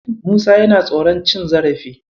Musa yana tsoron cin zarafi.